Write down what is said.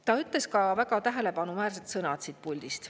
Ta ütles ka väga tähelepanuväärsed sõnad siit puldist.